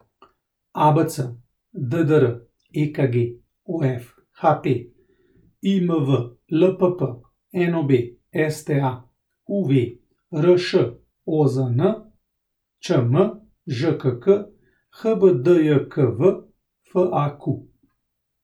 ABC, DDR, EKG, OF, HP, IMV, LPP, NOB, STA, UV, RŠ, OZN, ČM, ŽKK, HBDJKV, FAQ.